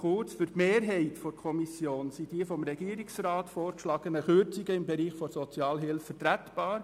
Für die Mehrheit der Kommission sind die vom Regierungsrat vorgeschlagenen Kürzungen im Bereich der Sozialhilfe vertretbar.